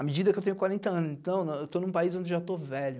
À medida que eu tenho quarenta anos, então, eu estou num país onde já estou velho.